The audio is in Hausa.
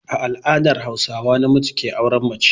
A al'adar Hauswa namiji ke auren mace.